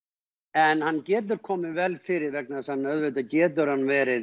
en hann getur komið vel fyrir vegna þess að auðvitað getur hann verið